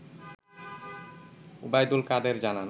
ওবায়দুল কাদের জানান